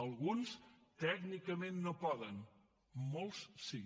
alguns tècnicament no poden molts sí